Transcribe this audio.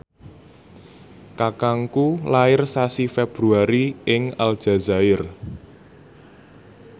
kakangku lair sasi Februari ing Aljazair